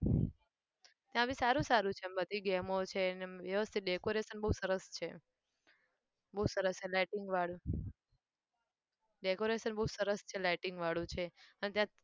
ત્યાં બી સારું સારું છે આમ બધી game ઓં છે ને અમ વ્યવસ્થિત decoration બહુ સરસ છે. બહુ સરસ lighting વાળું. decoration બહુ સરસ છે lighting વાળું છે. અને ત્યાં